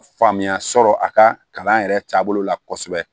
Faamuya sɔrɔ a ka kalan yɛrɛ taabolo la kosɛbɛ